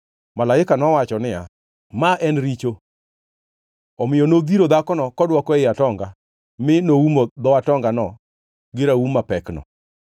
Malaika nowacho niya, “Ma en richo.” Omiyo nodhiro dhakono kodwoko ei atonga mi noumo dho atongano gi raum mapekno.